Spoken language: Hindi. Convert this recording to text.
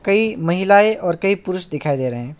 कई महिलाएं और कई पुरुष दिखाई दे रहे हैं।